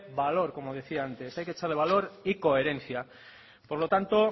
valor como decía antes hay que echarle valor y coherencia por lo tanto